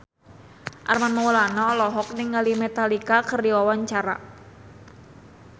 Armand Maulana olohok ningali Metallica keur diwawancara